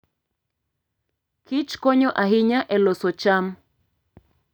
Kich konyo ahinya e loso cham.